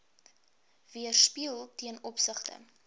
weerspieël ten opsigte